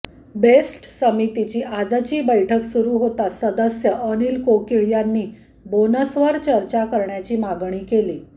best समितीची आजची बैठक सुरू होताच सदस्य अनिल कोकीळ यांनी बोनसवर चर्चा करण्याची मागणी केली